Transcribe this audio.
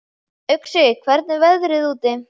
Uxi, hvernig er veðrið úti?